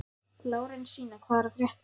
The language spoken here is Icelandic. Lárensína, hvað er að frétta?